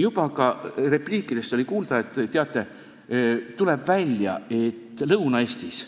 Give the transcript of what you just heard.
Juba ka repliikidest oli kuulda, et teate, tuleb välja, et Lõuna-Eestis